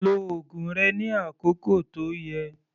Lo oògùn rẹ ní àkókò tó yẹ